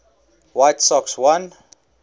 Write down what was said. white sox won